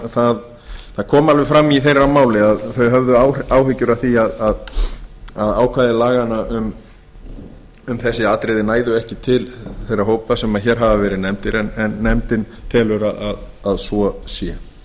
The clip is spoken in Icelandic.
það kom alveg fram í þeirra máli að þau höfðu áhyggjur af því að ákvæði laganna um þessi atriði næðu ekki til þeirra hópa sem hér hafa verið nefndir en nefndin telur að svo sé ég